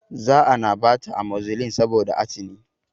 Za ana bata amozilin saboda atini